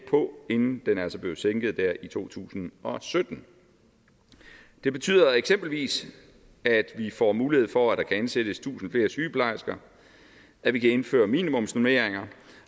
på inden den altså blevet sænket der i to tusind og sytten det betyder eksempelvis at vi får mulighed for at ansættes tusind flere sygeplejersker at vi kan indføre minimumsnormeringer